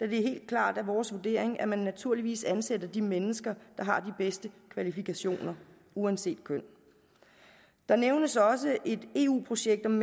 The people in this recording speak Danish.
helt klart vores vurdering at man naturligvis ansætter de mennesker der har de bedste kvalifikationer uanset køn der nævnes også et eu projekt om